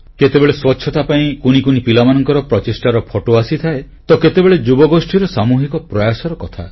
କେତେବେଳେ ସ୍ୱଚ୍ଛତା ପାଇଁ କୁନି କୁନି ପିଲାମାନଙ୍କର ପ୍ରଚେଷ୍ଟାର ଫଟୋ ଆସିଥାଏ ତ କେତେବେଳେ ଯୁବଗୋଷ୍ଠୀର ସାମୁହିକ ପ୍ରୟାସର କଥା